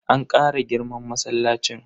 An Kara girman masallacin.